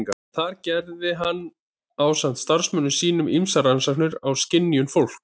Þar gerði hann ásamt samstarfsmönnum sínum ýmsar rannsóknir á skynjun fólks.